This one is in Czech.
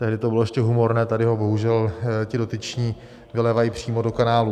Tehdy to bylo ještě humorné, tady ho bohužel ti dotyční vylévají přímo do kanálů.